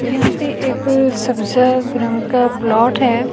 यहाँ पे एक सब्जा रंग का प्लॉट है।